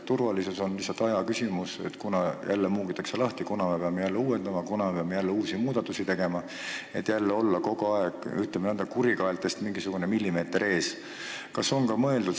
Turvalisus on ajaküsimus, kuna jälle muugitakse lahti, me peame jälle uuendama ja muudatusi tegema, et olla kogu aeg, ütleme, kurikaeltest mingisuguse millimeetri võrra ees.